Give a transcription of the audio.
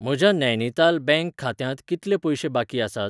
म्हज्या नैनीताल बँक खात्यांत कितले पयशे बाकी आसात?